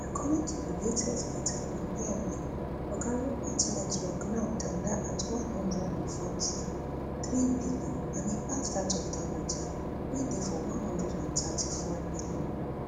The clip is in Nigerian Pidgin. according to di latest data from bmi oga rupert network now tanda at one hundred and forty-three billion and e pass dat of dangote wey dey for one hundred and thirty-four billion